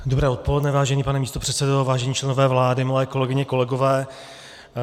Dobré odpoledne, vážený pane místopředsedo, vážení členové vlády, milé kolegyně, kolegové.